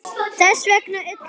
Þess vegna ullaði ég.